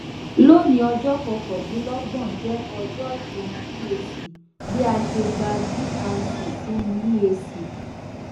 loni ọjọ kọkandinlọgbọn jẹ ọjọ itan eac bi a ṣe gba drc sinu eac